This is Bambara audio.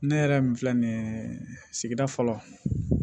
Ne yɛrɛ min filɛ nin ye sigida fɔlɔ